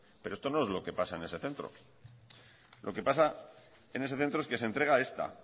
pero esto no es lo que pasa en ese centro lo que pasa en ese centro es que se entrega esta